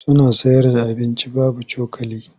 Suna sayarda abinci babu cokali.